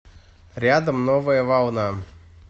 рядом новая волна